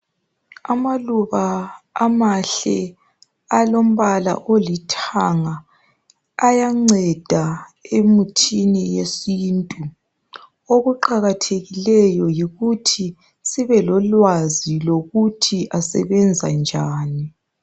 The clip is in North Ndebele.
Amaluba amahle alombala olithanga ayanceda emuthini yesiNtu. Okuqakathekileyo yikuthi sibe lolwazi lokuthi asebenza njani.